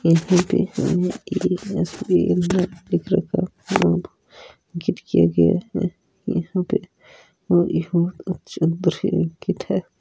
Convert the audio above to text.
लिख रखा अंकित किया गया है यहां अच्छा दृशय अंकित है।